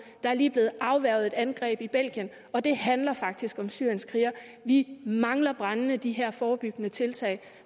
der er lige blevet afværget et angreb i belgien og det handler faktisk om syrienskrigere vi mangler brændende de her forebyggende tiltag